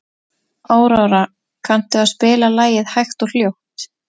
Aurora, kanntu að spila lagið „Hægt og hljótt“?